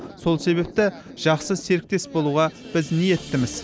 сол себепті жақсы серіктес болуға біз ниеттіміз